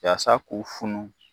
Yasa k'u funu.